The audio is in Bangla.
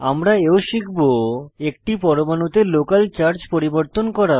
আমরা এও শিখব একটি পরমাণুতে লোকাল চার্জ পরিবর্তন করা